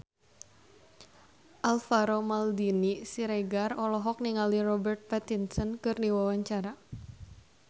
Alvaro Maldini Siregar olohok ningali Robert Pattinson keur diwawancara